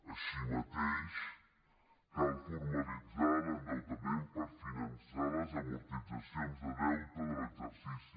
així mateix cal formalitzar l’endeutament per finançar les amortitzacions de deute de l’exercici